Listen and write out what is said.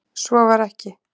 Svo var ekki.